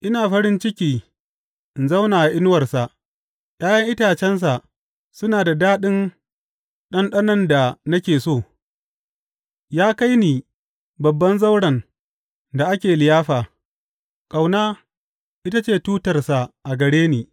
Ina farin ciki in zauna a inuwarsa, ’ya’yan itacensa suna da daɗin ɗanɗanon da nake so Ya kai ni babban zauren da ake liyafa, ƙauna ita ce tutarsa a gare ni.